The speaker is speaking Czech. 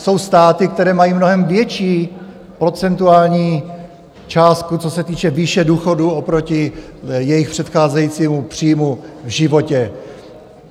Jsou státy, které mají mnohem větší procentuální částku, co se týče výše důchodu oproti jejich předcházejícímu příjmu v životě.